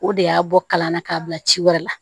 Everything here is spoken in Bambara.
O de y'a bɔ kalan na k'a bila ci wɛrɛ la